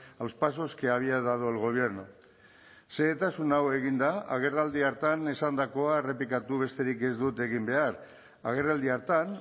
a los pasos que había dado el gobierno xehetasun hau eginda agerraldi hartan esandakoa errepikatu besterik ez dut egin behar agerraldi hartan